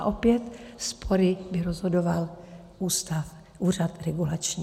A opět spory by rozhodoval úřad regulační.